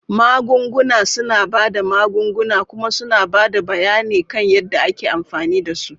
Magunguna suna ba da magunguna kuma suna ba da bayani kan yadda ake amfani da su.